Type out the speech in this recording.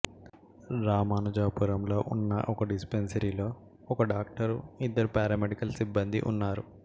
రామానుజపురంలో ఉన్న ఒక డిస్పెన్సరీలో ఒక డాక్టరు ఇద్దరు పారామెడికల్ సిబ్బందీ ఉన్నారు